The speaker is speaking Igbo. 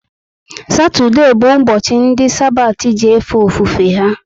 Satode bu ubochi ndi Sabati ji efe ofufe ha